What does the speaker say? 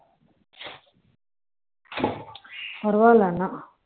பரவாயில்ல ஆனா